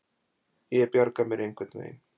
Ég bjarga mér einhvern veginn.